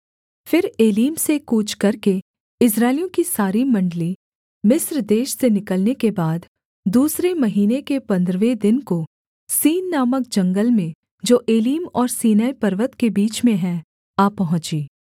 फिर एलीम से कूच करके इस्राएलियों की सारी मण्डली मिस्र देश से निकलने के बाद दूसरे महीने के पंद्रहवे दिन को सीन नामक जंगल में जो एलीम और सीनै पर्वत के बीच में है आ पहुँची